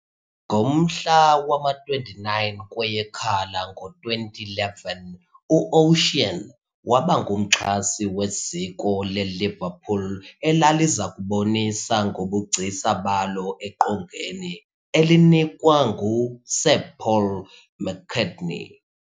Ngomhla wama-29 kweYekhala, ngo2011, uOcean waba ngumxhasi weziko leLiverpool elalizakubonisa ngobugcisa balo eqongeni, elinikwa nguSir Paul McCartney.